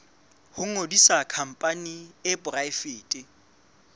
ho ngodisa khampani e poraefete